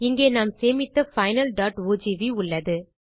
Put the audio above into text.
இங்கே நாம் சேமித்த finalஓஜிவி உள்ளது